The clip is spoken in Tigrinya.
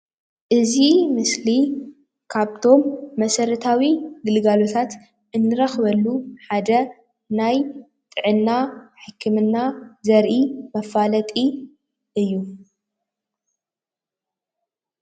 እዚ ምስሊ ካብቶም መስረታዊ ግልጋሎታት እንረኽበሉ ሓደ ናይ ጥዕና ሕክምና ዘርኢ መፋለጢ እዩ፡፡